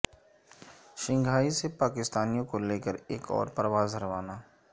Shanghai سے پاکستانیوں کو لے کر ایک اور پرواز روانہ